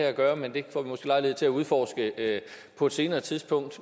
at gøre men det får vi måske lejlighed til at udforske på et senere tidspunkt